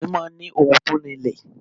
Ọkùnrin máa ń ni ohùn to rinlẹ̀